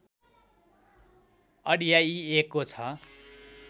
अड्याइएको छ